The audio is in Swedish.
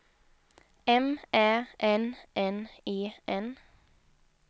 M Ä N N E N